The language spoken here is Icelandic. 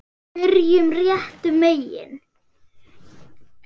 Byrjum réttum megin.